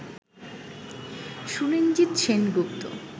Suranjit Sengupta